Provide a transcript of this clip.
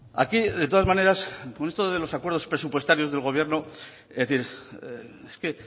aquí de todas maneras con los acuerdos presupuestarios del gobierno es decir es que